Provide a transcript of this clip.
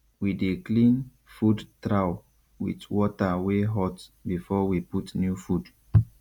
we dey clean food trough with water wey hot before we put new food